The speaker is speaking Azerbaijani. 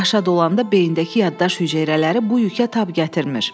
Yaş dolanda beyindəki yaddaş hüceyrələri bu yükə tab gətirmir.